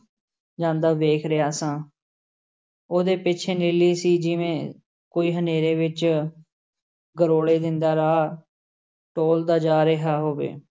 ਜਾਂਦਾ ਵੇਖ ਰਿਹਾ ਸਾਂ ਉਹਦੇ ਪਿੱਛੇ ਨੀਲੀ ਸੀ, ਜਿਵੇਂ ਕੋਈ ਹਨੇਰੇ ਵਿੱਚ ਗਰੋਲੇ ਦਿੰਦਾ ਰਾਹ ਟੋਲ਼ਦਾ ਜਾ ਰਿਹਾ ਹੋਵੇ।